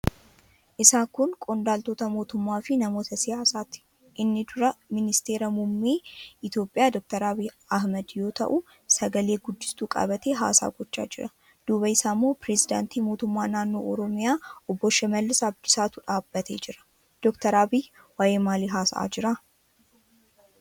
Isaan kun qondaaltota mootummaafi namoota siyaasaati. Inni duraa ministeera muummee Itiyoophiyaa Dr. Abiy Ahmad yoo ta'u, sagale-guddistuu qabatee haasaa gochaa jira. Duuba isaa immoo pirezidaantii mootummaa naannoo Oromiyaa Obbo Shimallis Abdiisaatu dhaabbatee jira. Dr. Abiy waa'ee maalii haasa'aa jira?